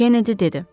Kenedi dedi.